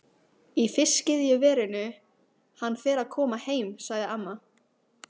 Í fiskiðjuverinu, hann fer að koma heim sagði amma.